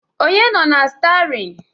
Onye nọ na stiarin?